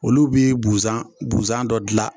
Olu bi buzan buzan dɔ gilan